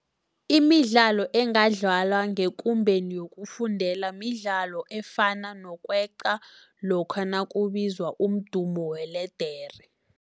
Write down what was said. Imidlalo engadlaliwa ngekumbeni yokufundela midlalo efana nokweqa lokha nakubizwa umdumo weledere.